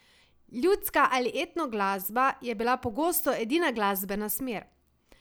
Ljudska ali etno glasba je bila pogosto edina glasbena smer.